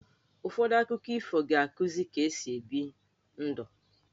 Ụfọdụ akụkọ ifo ga-akuzi ka-esi ebi ndụ.